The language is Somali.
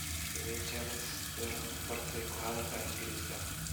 Sidee Charlize Theron u bartay ku hadalka ingiriisiga